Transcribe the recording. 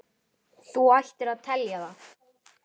Þú ættir að telja það.